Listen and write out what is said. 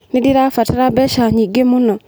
Nĩndĩrabatara mbeca nyingĩ mũno.